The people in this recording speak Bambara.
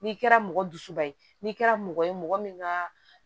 N'i kɛra mɔgɔ dusuba ye n'i kɛra mɔgɔ ye mɔgɔ min ka